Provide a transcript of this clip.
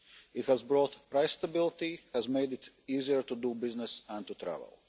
It has brought price stability and has made it easier to do business and to travel.